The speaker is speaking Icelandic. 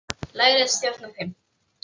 Læra að stjórna þeim.